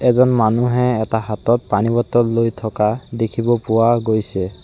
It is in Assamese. এজন মানুহে এটা হাতত পানী বটল লৈ থকা দেখিব পোৱা গৈছে।